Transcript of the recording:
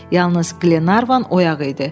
Yalnız Qlenarvan oyaq idi.